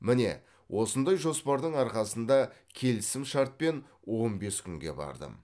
міне осындай жоспардың арқасында келісім шартпен он бес күнге бардым